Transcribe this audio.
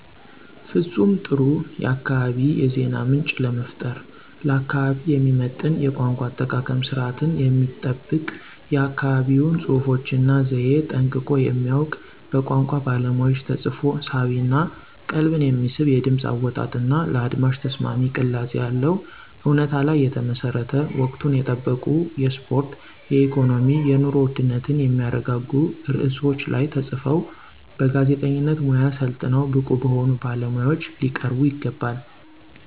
ፍፁም ጥሩ የአካባቢ የዜና ምንጭ ለመፍጠር። ለአካባቢው የሚመጥን የቋንቋ አጠቃቀም ስርዓትን የሚጠብቅ የአካባቢውን ፅሁፎች እና ዘየ ጠንቅቆ የሚያውቅ በቋንቋ ባለሙያዎች ተፅፎ ሳቢ እና ቀልብን የሚስብ የድምፅ አወጣጥ እና ለአድማጭ ተስማሚ ቅላፄ ያለው፣ እውነታ ላይ የተመሠረተ፣ ወቅቱን የጠበቁ የስፖርት፣ የኢኮኖሚ፣ የኑሮ ውድነትን የሚያረጋጉ ርዕሶች ላይ ተፅፈው በጋዜጠኝነት ሙያ ሠልጥነው ብቁ በሆኑ ባለሙያዎች ሊቀርቡ ይገባል።